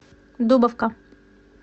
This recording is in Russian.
дубовка